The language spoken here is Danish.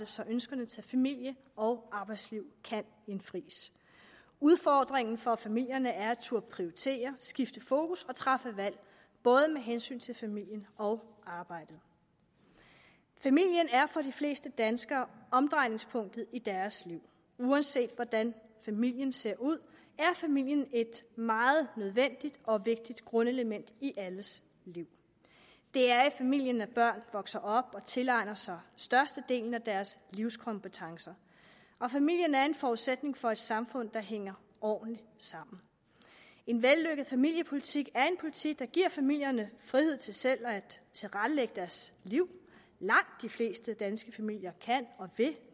så ønskerne til familie og arbejdsliv kan indfries udfordringen for familierne er at turde prioritere skifte fokus og træffe valg både med hensyn til familien og arbejdet familien er for de fleste danskere omdrejningspunktet i deres liv uanset hvordan familien ser ud er familien et meget nødvendigt og vigtigt grundelement i alles liv det er i familien at børn vokser op og tilegner sig størstedelen af deres livskompetencer og familien er en forudsætning for et samfund der hænger ordentligt sammen en vellykket familiepolitik er en politik der giver familierne frihed til selv at tilrettelægge deres liv langt de fleste danske familier kan og vil